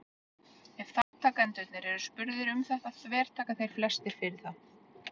ef þátttakendur eru spurðir um þetta þvertaka þeir flestir fyrir það